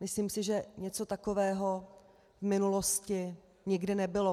Myslím si, že něco takového v minulosti nikdy nebylo.